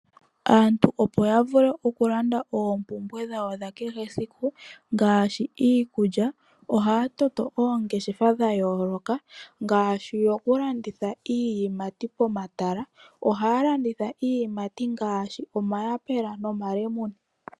Aantu opo yavule okulanda oompumbwe dhawo dhakehe esiku ngaashi iikulya, ohaya toto po oongeshefa dhayooloka, ngaashi dhokulanditha iiyimati pomatala. Ohaya landitha iiyimati ngaashi, omayapula, nomalemune.